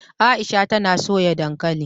Aisha tana soya dankali